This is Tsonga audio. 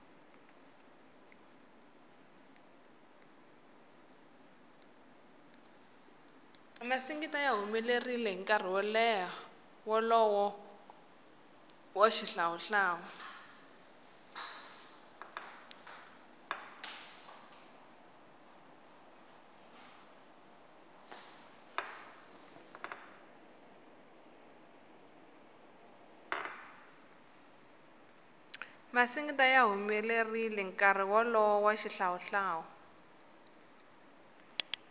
masingita ya humelerile nkarhi wolowo wa xihlawu hlawu